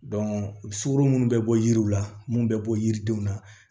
sukoro munnu bɛ bɔ yiriw la mun bɛ bɔ yiridenw na